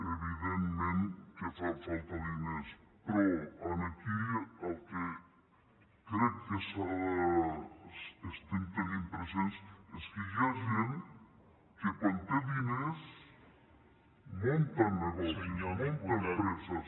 evidentment que fan falta diners però aquí el que crec que estem tenint present és que hi ha gent que quan té diners munta negocis munta empreses